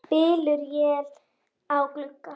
Bylur él á glugga.